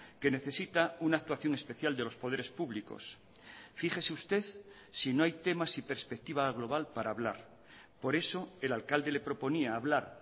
que necesita una actuación especial de los poderes públicos fíjese usted si no hay temas y perspectiva global para hablar por eso el alcalde le proponía hablar